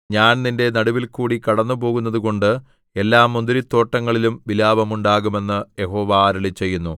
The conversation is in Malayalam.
ഞാൻ നിന്റെ നടുവിൽകൂടി കടന്നുപോകുന്നതുകൊണ്ട് എല്ലാ മുന്തിരിത്തോട്ടങ്ങളിലും വിലാപമുണ്ടാകും എന്ന് യഹോവ അരുളിച്ചെയ്യുന്നു